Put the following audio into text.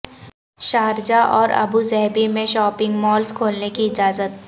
Sharjah اور Abu Dhabi میں shopping malls کھولنے کی اجازت